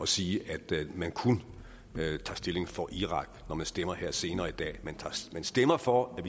sige at man kun tager stilling for irak når man stemmer her senere i dag man stemmer for at